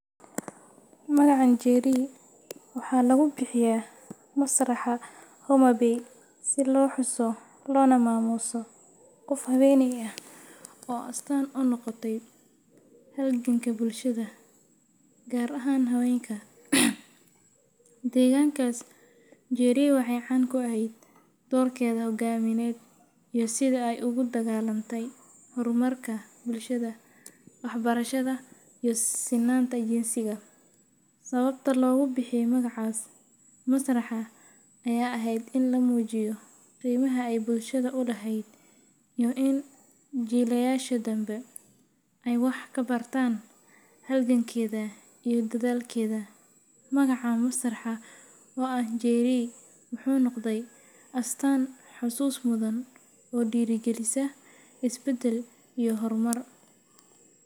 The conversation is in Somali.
Magacan njeri waxaa lagu bixiya masraxa homabay si lo xuso lona mamuso qof haweney ah oo astan u noqote halganka bulshaada gar ahan hawenka degankas njeri waxee can ku eheed dorkeedha hogamiyeed sitha ee ugu dagalante dumarka bulshaada wax barashaada iyo sinanta jinsiga, sawabta logu bixiye magacas masraxa ee aheed in lamujiyo iyo qimaha ee bulshaada u laheed in jilayasha danbe ee wax ka bartan halgankedha iyo dathalkedha, magaca masraxa oo ah njeri muxuu noqdee astan xusus mudhan oo dira galisa isbadal iyo hor mar.